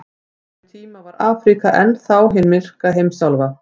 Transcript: Á þeim tíma var Afríka enn þá hin myrka heimsálfa.